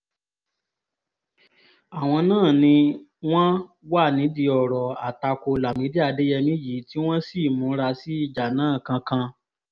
àwọn náà ni wọ́n wà nídìí ọ̀rọ̀ àtakò lámìdí adéyẹmi yìí tí wọ́n sì múra sí ìjà náà kankan